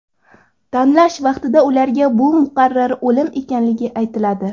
Tanlash vaqtida ularga bu muqarrar o‘lim ekanligi aytiladi.